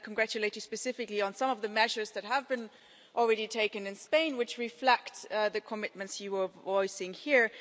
Let me congratulate you specifically on some of the measures that have already been taken in Spain, which reflect the commitments you were voicing here.